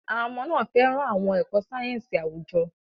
Àwọn ọmọ náà fẹ́ràn àwọn ẹ̀kọ́ sáyẹ́ńsì àwùjọ.